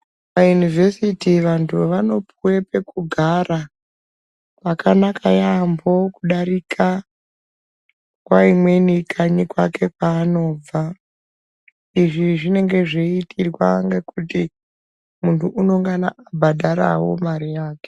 Maunivhesiti vantu vanopuwa pekugara pakanaka yambo kudarika nguwa imweni kanyika kwake kwanobva izvi zvinongana zveitirwa kuti muntu anongana abhadhara mare yake.